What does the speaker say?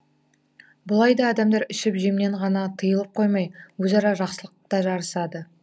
бұл айда адамдар ішіп жемнен ғана тиылып қоймай өзара жақсылықта жарысады